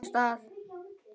Hvern hlut á sínum stað.